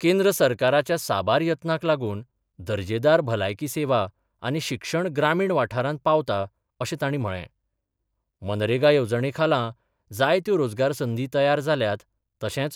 केंद्र सरकाराच्या साबार यत्नाक लागून दर्जेदार भलायकी सेवा आनी शिक्षण ग्रामीण वाठारांत पावता अशें तांणी म्हळें मनरेगा येवजणे खाला, जायत्यो रोजगार संदी तयार जाल्यात तशेंच